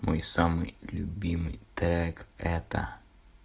мой самый любимый трек это